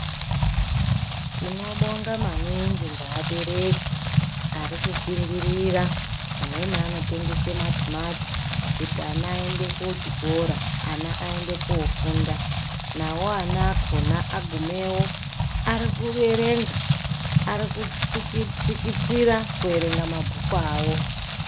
Tinobonga maningi ngeabereki arikushingira. Amweni anotengese matimati kuti ana aende kuchikora, ana aende koofunda. Navo ana akona agumeyo arikuerenga, arikutsikitsira kuerenga mabhuku avo.